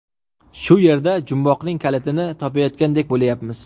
Shu yerda jumboqning kalitini topayotgandek bo‘layapmiz.